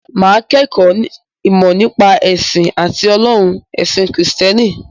Mà á kẹ́kọ̀ọ́ “ìmọ̀ nípa ẹ̀sìn àti ọlọ́run” ẹ̀sìn Kìrìsìtẹ́nì.